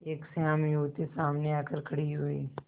एक श्यामा युवती सामने आकर खड़ी हुई